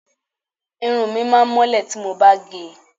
Irun mi máá mọ́lẹ̀ tí mo bá gẹ̀ ẹ́